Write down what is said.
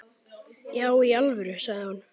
Já í alvöru, sagði hún.